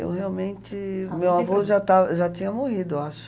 Eu realmente... Meu avô já estava, já tinha morrido, eu acho.